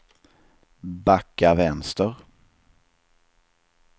backa vänster